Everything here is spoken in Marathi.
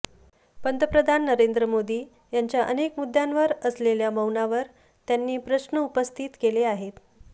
पंतप्रधान नरेंद्र मोदी यांच्या अनेक मुद्द्यांवर असलेल्या मौनावर त्यांनी प्रश्न उपस्थित केले आहेत